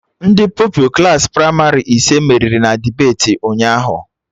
Ndị Pupilụ Klassị pramarị ise meriri na debeti ụnyaahụ